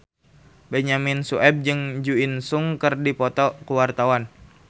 Benyamin Sueb jeung Jo In Sung keur dipoto ku wartawan